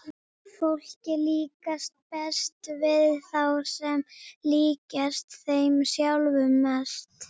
Fólki líkar best við þá sem líkjast þeim sjálfum mest.